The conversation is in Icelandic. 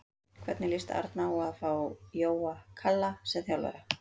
Hvernig lýst Árna á að fá Jóa Kalla sem þjálfara?